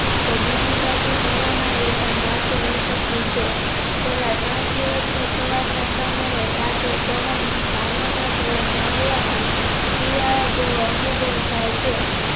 તો બીજીબાજુ corona એપણ માથયુ ઉચક્યું છે છેલ્લા ત્રણ દિવસથી સવારના સમયે ટાઢો પવન ભાવનગર શહેરમાં હોવાથી શિયાળા જેવો અનુભવ થાય છે.